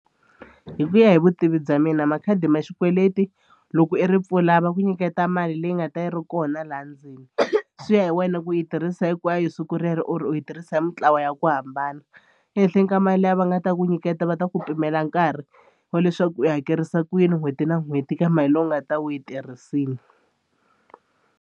Hi ku ya hi vutivi bya mina makhadi ma xikweleti loko i ri pfula va ku nyiketa mali leyi nga ta yi ri kona laha ndzeni swi ya hi wena ku yi tirhisa hinkwayo siku rero or u yi tirhisa hi mintlawa wona ya ku hambana ehenhleni ka mali leyi va nga ta ku nyiketa va ta ku pimela nkarhi wa leswaku u yi hakerisa ku yini n'hweti na n'hweti ka mali leyi u nga ta va u yi tirhisini.